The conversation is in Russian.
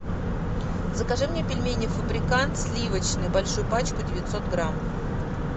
закажи мне пельмени фабрикант сливочные большую пачку девятьсот грамм